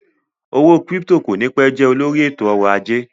Owó kírípítò kò ní pẹ́ jẹ́ olùdarí ètò ọ̀rọ̀ ajé